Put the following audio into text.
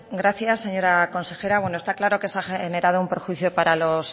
gracias señora consejera está claro que se ha generado un perjuicio para los